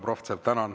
Tänan!